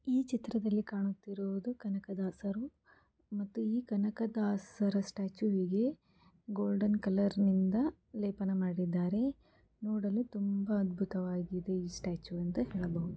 ಈ ಚ್ತ್ರದಲ್ಲಿ ಕಾಣುತ್ತಿರುವುದು ಕನಕದಾಸರು ಮತ್ತು ಈ ಕನಕದಾಸರ ಸ್ಟೆಚುವಿಗೆ ಗೋಲ್ಡನ್ ಕಲರ್ ನಿಂದ ಲೇಪನ ಮಾಡಿದ್ದಾರೆ ನೋಡಲು ತುಂಬಾ ಅದ್ಭುತವಾಗಿದೆ ಈ ಸ್ಟೆಚು ಅಂತ ಹೇಳಬಹುದು.